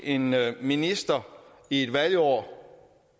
en minister i et valgår